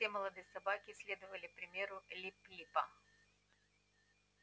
все молодые собаки следовали примеру лип липа